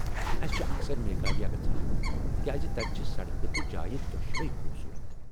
اَسہِ چھےٚ اکثر میگھالیہ گژھان تکیاز تتہِ چھ سڑکہٕ تہٕ جایہ دۄشوے خوبصورت ۔